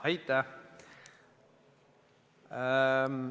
Aitäh!